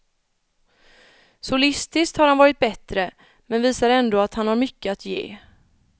Solistiskt har han varit bättre, men visar ändå att han har mycket att ge.